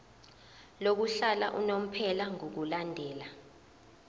lokuhlala unomphela ngokulandela